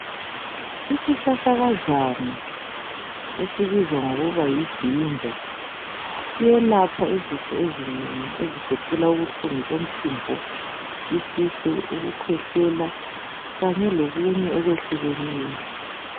Isihlahlakazana esibizwa ngokuthi yijinja siyelapha izifo ezinengi ezigoqela ubuhlungu bomphimbo, isisu, ukukhwehlela okunye okwehlukeneyo.